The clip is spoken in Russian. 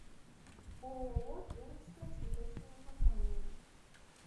ооо пермская цветочная компания